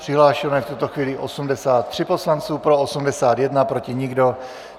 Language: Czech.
Přihlášeno je v tuto chvíli 83 poslanců, pro 81, proti nikdo.